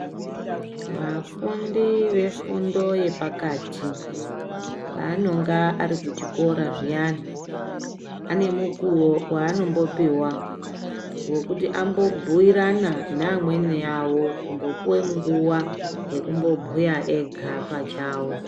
Vafundi vefundo yepakati paanonga ari kuchikora zviyani pane mukuo waanombopiwa wekuti ambobhiirana neamweni awo kumbopiwa nguwa yekumbobhuya ega pachawo.